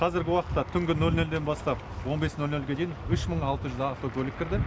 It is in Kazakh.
қазіргі уақытта түнгі нөл нөлден бастап он бес нөл нөлге дейін үш мың алты жүз автокөлік кірді